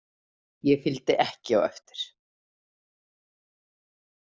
Ég fylgdi ekki á eftir.